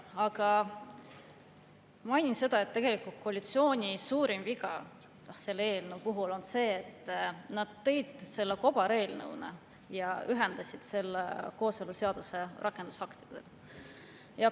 Aga mainin seda, et tegelikult koalitsiooni suurim viga selle eelnõu puhul on see, et nad tõid selle siia kobareelnõuna ja ühendasid selle kooseluseaduse rakendusaktidega.